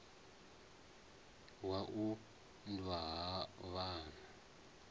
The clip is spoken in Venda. wa u unḓwa ha vhana